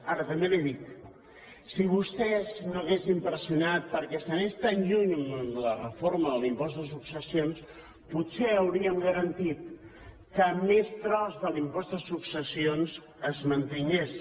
ara també li ho dic si vostès no haguessin pressionat perquè s’anés tan lluny en la reforma de l’impost de successions potser hauríem garantit que més tros de l’impost de successions es mantingués